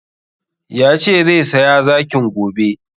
Yace zai saya zakin gobe